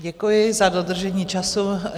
Děkuji za dodržení času.